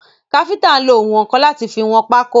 Káfíntà nlo ounwọ̀nkan láti fi wọn pákó.